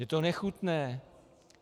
Je to nechutné.